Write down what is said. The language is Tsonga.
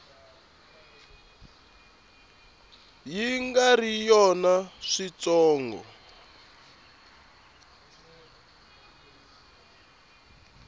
yi nga ri yona switsongo